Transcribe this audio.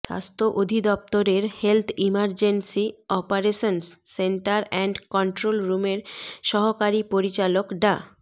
স্বাস্থ্য অধিদপ্তরের health emergency operations centre and কন্ট্রোলরুমের সহকারী পরিচালক ডা